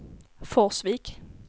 Forsvik